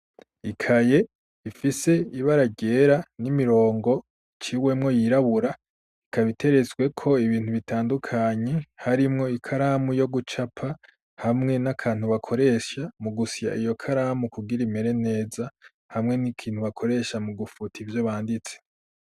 Ikaye ifise ibara ryera n'imirongo icwemwo yirabura ikaba iterestweko ibintu bitandukanye harimwo ikaramu yo gucapa hamwe n'akantu bakoresha mu gusya iyo karamu kugira imere neza hamwe n'ikintu bakoresha mu gufuta ivyo banditse.